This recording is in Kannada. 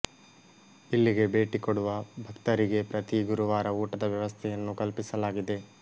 ಇಲ್ಲಿಗೆ ಭೇಟಿ ಕೊಡುವ ಭಕ್ತರಿಗೆ ಪ್ರತೀ ಗುರುವಾರ ಊಟದ ವ್ಯವಸ್ಥೆಯನ್ನು ಕಲ್ಪಿಸಲಾಗಿದೆ